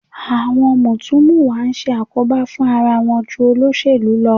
Àwọn mùtúmùwà ń ṣe àkóbá fún ara wọn ju àwọn olóṣèlú lọ